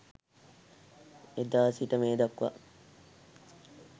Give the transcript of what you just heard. එදා සිට මේ දක්වා